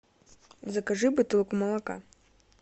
закажи бутылку молока